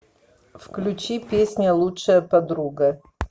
включи песня лучшая подруга